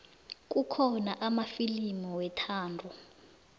kukhona amafilimu wethando